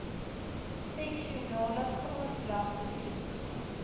sessionele grondslag besoek